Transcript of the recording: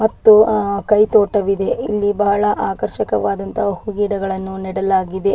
ಮತ್ತು ಆ ಕೈತೋಟವಿದೆ ಇಲ್ಲಿ ಬಹಳ ಆಕರ್ಷಕವಾದಂತಹ ಗಿಡಗಳನ್ನು ನೆಡಲಾಗಿದೆ.